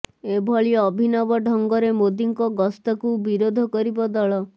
ଏଭଳି ଅଭିନବ ଢଙ୍ଗରେ ମୋଦିଙ୍କ ଗସ୍ତକୁ ବିରୋଧ କରିବ ଦଳ